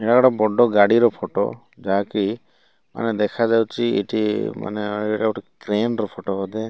ଏଟା ଗୋଟେ ବଡ ଗାଡି ର ଫଟୋ ଯାହାକି ମାନେ ଦେଖାଯାଉଚି ଏଠି ମାନେ ଏଟା ଗୋଟେ କ୍ରେନ୍ ର ଫଟୋ ବୋଧେ।